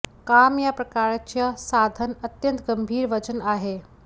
काम या प्रकारच्या साधन अत्यंत गंभीर वजन आहे